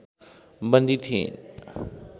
बन्दी थिइन्।